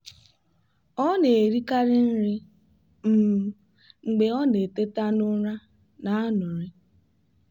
ọ na-erikarị nri um mgbe ọ na-eteta n'ụra n'anuri.